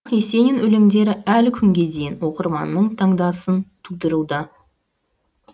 есенин өлеңдері әлі күнге дейін оқырманның таңданысын тудыруда